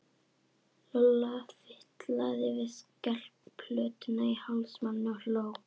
Lolla fitlaði við skelplötuna í hálsmálinu og hló.